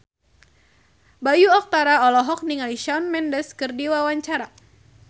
Bayu Octara olohok ningali Shawn Mendes keur diwawancara